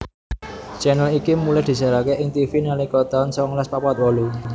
channel iki mulai disiaraké ing Tivi nalika tahun songolas papat wolu